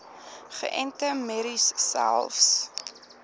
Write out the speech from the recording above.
geënte merries selfs